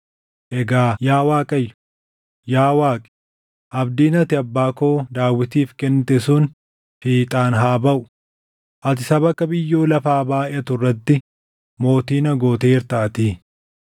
Egaa yaa Waaqayyo, yaa Waaqi, abdiin ati abbaa koo Daawitiif kennite sun fiixaan haa baʼu; ati saba akka biyyoo lafaa baayʼatu irratti mootii na gooteertaatii.